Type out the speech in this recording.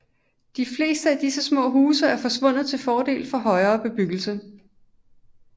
De fleste af disse små huse er forsvundet til fordel for højere bebyggelse